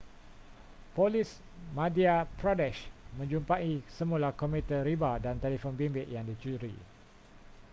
polis madhya pradesh menjumpai semula komputer riba dan telefon bimbit yang dicuri